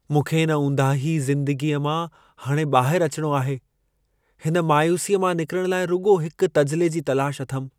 मूंखे इन ऊंदाही ज़िंदगीअ मां हाणे ॿाहिरु अचिणो आहे। हिन मायूसीअ मां निकिरण लाइ रुॻो हिक तजिले जी तलाश अथमि।